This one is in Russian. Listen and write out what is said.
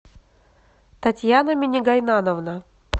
татьяна минигайнановна